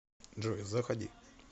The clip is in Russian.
джой заходи